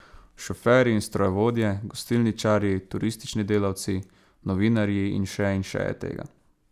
Šoferji in strojevodje, gostilničarji, turistični delavci, novinarji in še in še je tega.